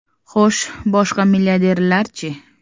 Xo‘sh, boshqa milliarderlarchi?